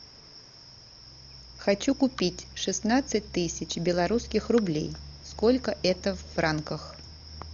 хочу купить шестнадцать тысяч белорусских рублей сколько это в франках